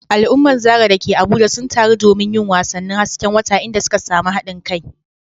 Al’ummar Zarah da ke Abuja sun taru domin yin wasannin hasken wata, inda suka samu haɗin kai.